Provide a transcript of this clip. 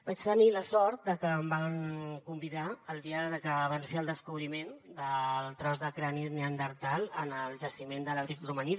vaig tenir la sort de que em van convidar el dia que van fer el descobriment del tros de crani neandertal en el jaciment de l’abric romaní